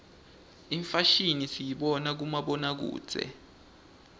imfashimi siyibona kubomabonakudze